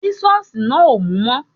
Sísọ̀sì náà ò mú mọ́